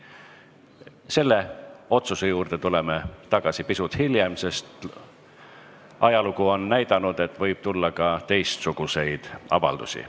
Selle otsuse juurde tuleme tagasi pisut hiljem, sest ajalugu on näidanud, et võib tulla ka teistsuguseid avaldusi.